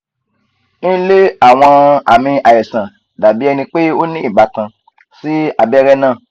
nle awọn aami aisan dabi ẹnipe o ni ibatan si abẹrẹ naa